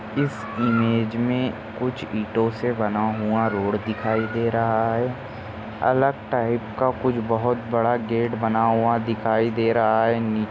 इस इमेज मे कुछ ईटों से बना हुआ रोड दिखाई दे रहा है अलग टाइप का कुछ बहुत बड़ा गेट बना हुआ दिखाई दे रहा है। नि--